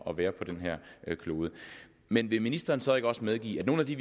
at være på den her klode men vil ministeren så ikke også medgive at nogle af de